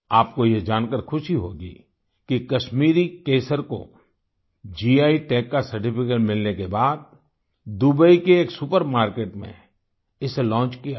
आपको यह जानकर खुशी होगी कि कश्मीरी केसर को गी टैग का सर्टिफिकेट मिलने के बाद दुबई के एक सुपर मार्किट में इसे लॉन्च किया गया